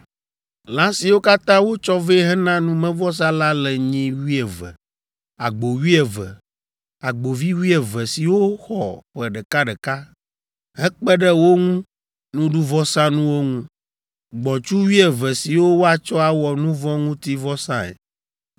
Lã siwo katã wotsɔ vɛ hena numevɔsa la le nyi wuieve, agbo wuieve, agbovi wuieve siwo xɔ ƒe ɖekaɖeka, hekpe ɖe wo ŋu nuɖuvɔsanuwo ŋu; gbɔ̃tsu wuieve siwo woatsɔ awɔ nu vɔ̃ ŋuti vɔsae.